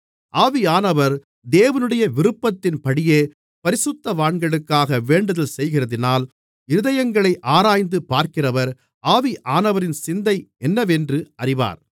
ஆவியானவர் தேவனுடைய விருப்பத்தின்படியே பரிசுத்தவான்களுக்காக வேண்டுதல்செய்கிறதினால் இருதயங்களை ஆராய்ந்து பார்க்கிறவர் ஆவியானவரின் சிந்தை என்னவென்று அறிவார்